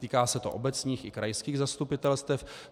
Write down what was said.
Týká se to obecních i krajských zastupitelstev.